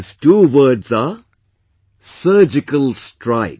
These two words are Surgical Strike